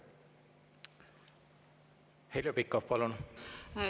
Heljo Pikhof, palun!